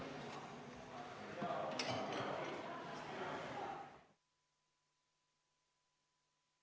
Istungi lõpp kell 15.07.